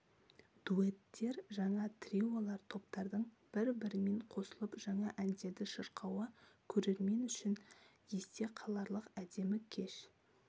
дуэттер жаңа триолар топтардың бір-бірімен қосылып жаңа әндерді шырқауы көрермен үшін есте қаларлық әдемі кеш